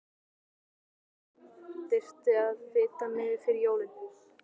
Hann sagði að það þyrfti að fita mig fyrir jólin.